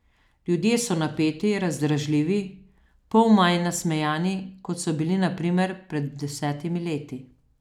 Ljudje so napeti, razdražljivi, pol manj nasmejani, kot so bili na primer pred desetimi leti.